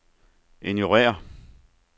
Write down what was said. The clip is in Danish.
ignorér